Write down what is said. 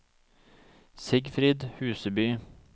Sigfrid Huseby